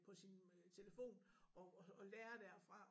På sin telefon og og lære derfra